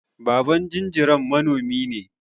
Baban jinjiran manomi ne.